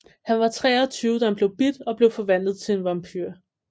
Han var 23 da han blev bidt og blev forvandlet til en vampyr